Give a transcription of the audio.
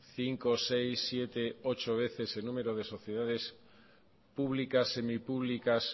cinco seis siete ocho veces el número de sociedades públicas semipúblicas